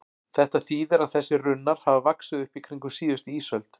Þetta þýðir að þessir runnar hafa vaxið upp í kringum síðustu ísöld.